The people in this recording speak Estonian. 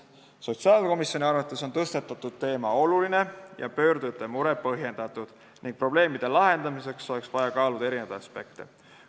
Sotsiaalkomisjoni arvates on tõstatatud teema oluline ja pöördujate mure põhjendatud ning probleemide lahendamiseks oleks vaja kaaluda eri aspekte.